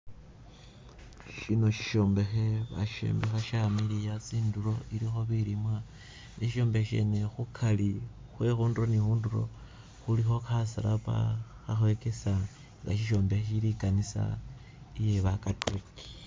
Syino isyombekhe basyombekha syamiliya tsindulo ilikho bilimwa, isyombekhe syene khukari khwe khundulo ni khundulo khulikho khasalaba khakhokesa nga sisyombekhe sili i'kanisa iye bakatuliki